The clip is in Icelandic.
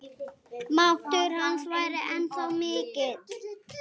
Máttur hans væri ennþá mikill.